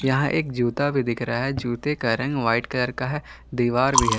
यहां एक जूता भी दिख रहा है जूते का रंग व्हाइट कलर का है दीवार भी है।